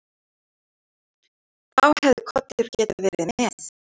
Þá hefði Kolur getað verið með.